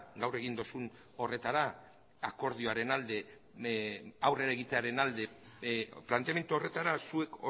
gaur egin duzun horretara akordioaren alde aurrera egitearen alde planteamendu horretara zuek